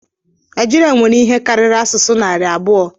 Naịjirịa nwere ihe karịrị asụsụ narị abụọ